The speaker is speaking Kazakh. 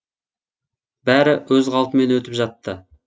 бәрі өз қалпымен өтіп жатты